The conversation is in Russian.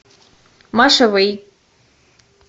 маша вэй